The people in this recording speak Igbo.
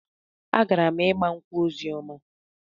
Agara m ịgba nkwụ Ozioma.